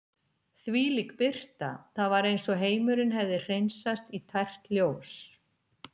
Þvílík birta, það var eins og heimurinn hefði hreinsast í tært ljós.